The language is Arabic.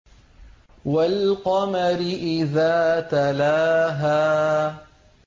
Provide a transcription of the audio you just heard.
وَالْقَمَرِ إِذَا تَلَاهَا